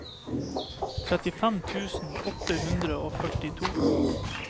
trettifem tusen åtte hundre og førtito